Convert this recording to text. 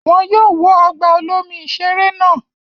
Wọn yóò wó ọgbà olomi-ìṣeré náà.